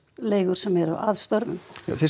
leigur sem eru að störfum